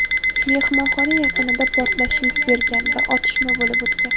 Mehmonxona yaqinida portlash yuz bergan va otishma bo‘lib o‘tgan.